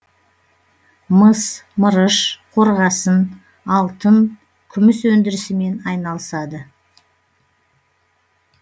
мыс мырыш қорғасын алтын күміс өндірісімен айналысады